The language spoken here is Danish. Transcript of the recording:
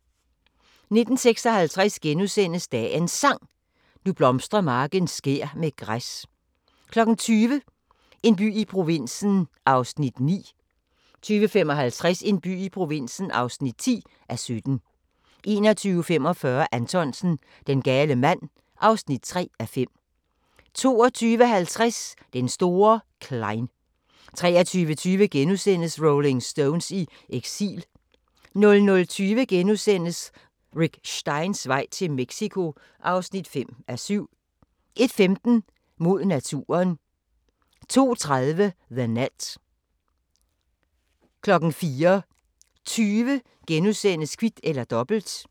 19:56: Dagens Sang: Nu blomstrer marken skær med græs * 20:00: En by i provinsen (9:17) 20:55: En by i provinsen (10:17) 21:45: Anthonsen - Den gale mand (3:5) 22:50: Den store Klein 23:20: Rolling Stones i eksil * 00:20: Rick Steins vej til Mexico (5:7)* 01:15: Mod naturen 02:30: The Net 04:20: Kvit eller Dobbelt *